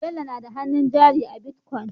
Bello nada hannun jari a bitcoin